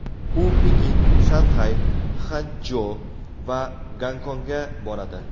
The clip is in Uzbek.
U Pekin, Shanxay, Xanchjo va Gonkongga boradi.